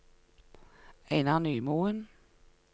Einar Nymoen